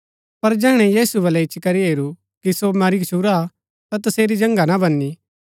पर जैहणै यीशु बलै इच्ची करी हेरू कि सो मरी गच्छुरा हा ता तसेरी जन्गा ना भनी